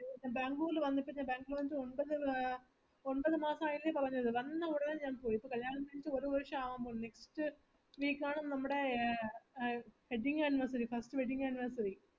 Bangalore വന്നിട്ട് ഒന്പതാമസയെന്നല്ലേ പറഞ്ഞത് വന്ന ഉടനെ next week ആണ് നമ്മുടേ wedding anniversary first wedding anniversary